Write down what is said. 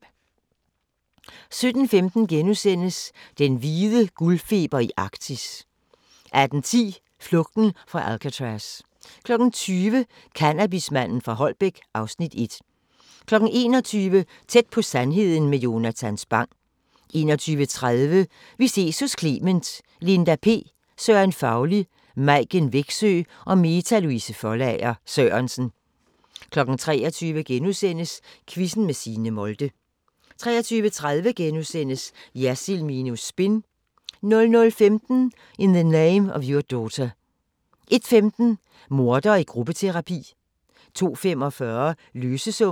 17:15: Den hvide guldfeber i Arktis * 18:10: Flugten fra Alcatraz 20:00: Cannabismanden fra Holbæk (Afs. 1) 21:00: Tæt på sandheden med Jonatan Spang 21:30: Vi ses hos Clement: Linda P, Søren Fauli, Maiken Wexø og Meta Louise Foldager Sørensen 23:00: Quizzen med Signe Molde * 23:30: Jersild minus spin * 00:15: In the Name of Your Daughter 01:15: Mordere i gruppeterapi 02:45: Løsesummen